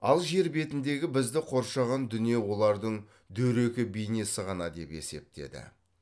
ал жер бетіндегі бізді қоршаған дүние олардың дөрекі бейнесі ғана деп есептеді